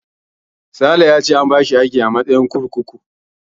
Sale ya ce an bashi aiki a matsayin mataimakin kurkuku.